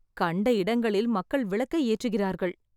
கண்ட இடங்களில் மக்கள் விளக்கை ஏற்றுகிறார்கள்